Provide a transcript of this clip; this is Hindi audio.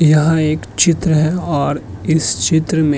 यहाँ एक चित्र और इस चित्र में --